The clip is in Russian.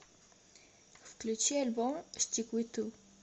включи альбом стиквиту